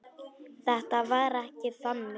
Þetta var ekki þannig.